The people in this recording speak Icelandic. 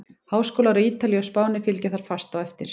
Háskólar á Ítalíu og Spáni fylgja þar fast á eftir.